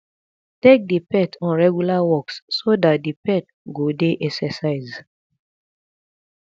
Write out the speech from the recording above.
take di pet on regular walks so dat di pet go dey exercise